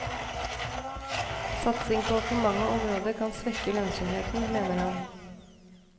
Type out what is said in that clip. Satsing på for mange områder kan svekke lønnsomheten, mener man.